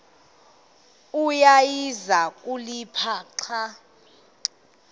awayeza kuliphatha xa